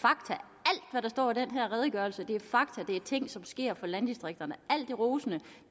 med der står i den her redegørelse er fakta det er ting som sker for landdistrikterne alt det rosende